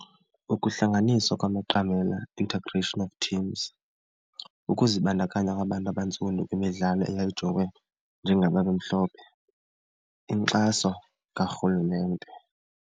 Ukuhlanganiswa kwamaqamela, integration of teams. Ukuzibandakanya kwabantu abantsundu kwimidlalo eyayijongwe njengababemhlophe, inkxaso karhulumente.